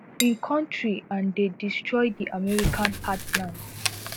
im kontri and dey destroy di american heartland